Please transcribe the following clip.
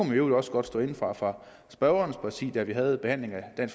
i øvrigt også godt stå inde for fra spørgernes partis da vi havde behandlingen af